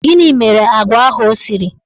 Gịnị mere agwa ahụ ọ siri?